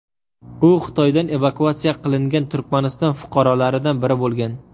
U Xitoydan evakuatsiya qilingan Turkmaniston fuqarolaridan biri bo‘lgan.